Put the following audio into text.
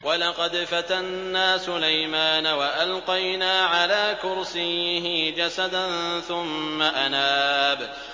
وَلَقَدْ فَتَنَّا سُلَيْمَانَ وَأَلْقَيْنَا عَلَىٰ كُرْسِيِّهِ جَسَدًا ثُمَّ أَنَابَ